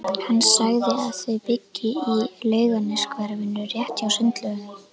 Hann sagði að þau byggju í Laugarneshverfinu, rétt hjá Sundlaugunum.